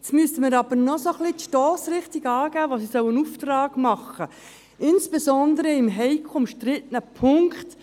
Jetzt müssen wir aber noch die Stossrichtung des Auftrags vorgeben, den die SAK erteilen soll, insbesondere im heiklen und umstrittenen Punkt: